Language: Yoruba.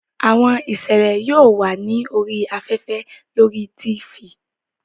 Àwọn ìṣẹ̀lẹ̀ yóò wà ní orí afẹ́fẹ́ lórí Tifì